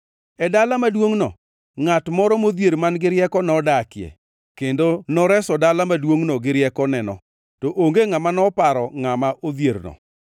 E dala maduongʼno ngʼat moro modhier man-gi rieko nodakie, kendo noreso dala maduongʼno gi riekoneno. To onge ngʼama noparo ngʼama odhierno.